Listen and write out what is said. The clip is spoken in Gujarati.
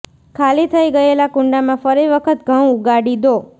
ખાલી થઇ ગયેલા કુંડામાં ફરી વખત ઘઉં ઉગાડી દો